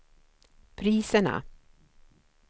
priserna